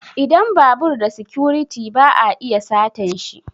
Idan babur da sikuriti ba a iya satanshi